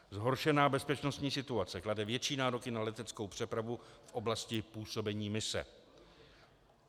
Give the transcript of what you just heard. Zhoršená bezpečnostní situace klade větší nároky na leteckou přepravu v oblasti působení mise.